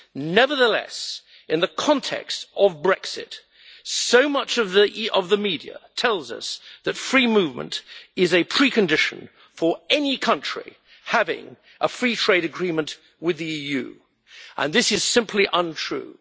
Nevertheless, in the context of Brexit, so much of the media tells us that free movement is a precondition for any country having a free trade agreement with the EU, and this is simply untrue.